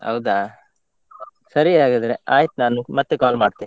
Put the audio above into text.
ಹೌದಾ! ಸರಿ ಹಾಗಾದ್ರೆ ಆಯ್ತು ನಾನು ಮತ್ತೆ call ಮಾಡ್ತೆ.